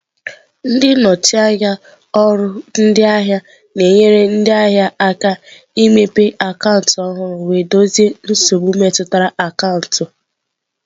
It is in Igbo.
Ndị nnọchi anya ọrụ ndị ahịa na-enyere ndị ahịa aka imepe akaụntụ ọhụrụ wee dozie nsogbu metụtara akaụntụ.